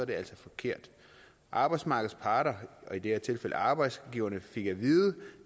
det altså forkert arbejdsmarkedets parter og i det her tilfælde arbejdsgiverne fik at vide